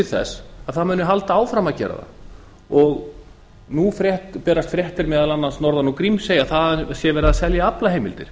þess að það muni halda áfram að gera það nú berast fréttir meðal annars norðan úr grímsey að þaðan sé verið að selja aflaheimildir